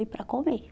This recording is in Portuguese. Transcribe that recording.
E para comer?